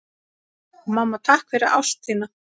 Mamma, takk fyrir ást þína.